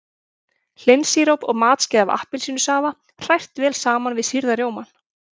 Hlynsíróp og matskeið af appelsínusafa hrært vel saman við sýrða rjómann.